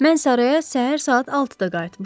Mən saraya səhər saat 6-da qayıtmışam.